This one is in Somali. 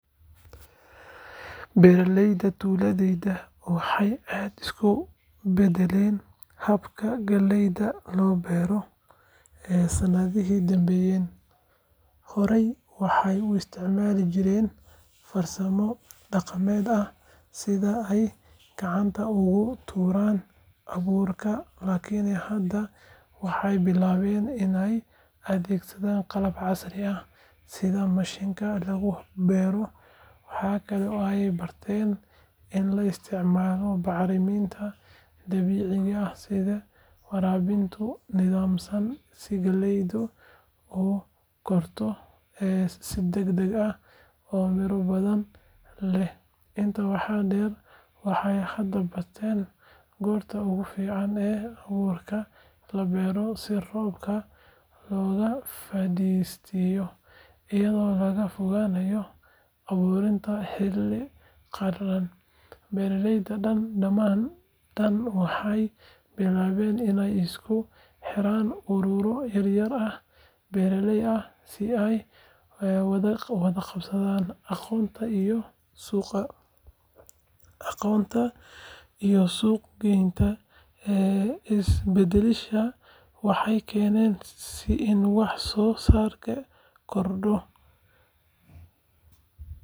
Beeraleyda tuuladayda waxay aad u beddeleen habka galleyda loo beero sanadihii u dambeeyay. Horey waxay u isticmaali jireen farsamo dhaqameed ah sida ay gacanta ugu tuuraan abuurka, laakin hadda waxay bilaabeen inay adeegsadaan qalab casri ah sida mashiinnada lagu beero. Waxa kale oo ay barteen in la isticmaalo bacriminta dabiiciga ah iyo waraabinta nidaamsan si galleydu u korto si degdeg ah oo miro badan leh. Intaa waxaa dheer, waxay hadda bartaan goorta ugu fiican ee abuurka la beero si roobka looga faa’iideysto, iyadoo laga fogaanayo abuuridda xilli qalalan. Beeraley badan waxay bilaabeen inay isku xidhaan ururro yar yar oo beeraley ah si ay u wadaagaan qalabka, aqoonta iyo suuq geynta. Isbeddeladan waxay keeneen in wax soo saarkii kordho.